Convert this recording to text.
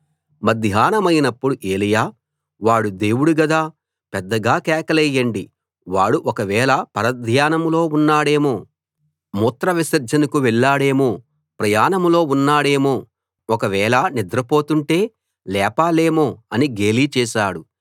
మధ్యాహ్నమైనప్పుడు ఏలీయా వాడు దేవుడు గదా పెద్దగా కేకలేయండి వాడు ఒకవేళ పరధ్యానంలో ఉన్నాడేమో మూత్రవిసర్జనకు వెళ్లాడేమో ప్రయాణంలో ఉన్నాడేమో ఒకవేళ నిద్రపోతుంటే లేపాలేమో అని గేలి చేశాడు